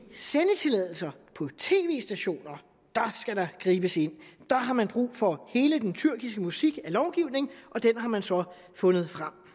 stationer skal der gribes ind der har man brug for hele den tyrkiske musik af lovgivning og den har man så fundet frem